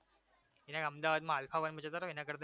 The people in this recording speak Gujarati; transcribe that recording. એ નઈ અમદાવાદમાં alpha one જતા રહો એના કરતા